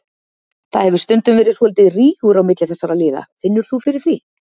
Það hefur stundum verið svolítill rígur á milli þessara liða, finnur þú fyrir því?